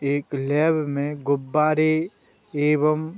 एक लैब में गुब्बारे एवं --